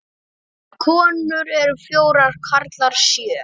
Konur eru fjórar, karlar sjö.